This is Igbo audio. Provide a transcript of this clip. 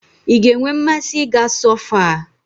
I ga-enwe mmasị ị ga sọfoa